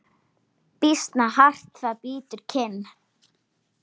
Býsna hart það bítur kinn.